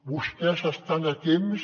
vostès estan a temps